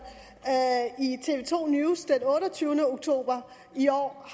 i tv to news den otteogtyvende oktober i år